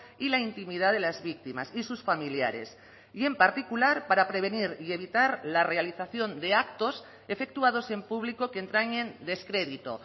y la intimidad de las víctimas y sus familiares y en particular para prevenir y evitar la realización de actos efectuados en público que entrañen descrédito